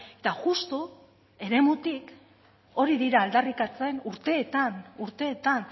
eta justu eremutik hori dira aldarrikatzen urteetan urteetan